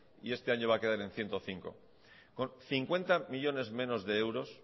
y este año va a quedar en ciento cinco millónes con cincuenta millónes menos de euros